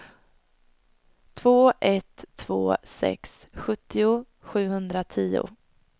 två ett två sex sjuttio sjuhundratio